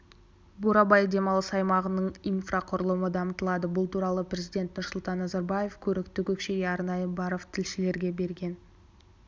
бурабай демалыс аймағының инфрақұрылымы дамытылады бұл туралы президент нұрсұлтан назарбаев көрікті көкшеге арнайы барып тілшілерге берген